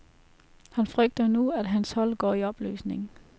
Han frygter nu, at hans hold går i opløsning.